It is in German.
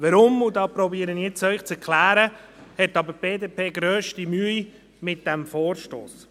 Warum – und das versuche ich Ihnen jetzt zu erklären – hat die BDP aber grösste Mühe mit dem Vorstoss?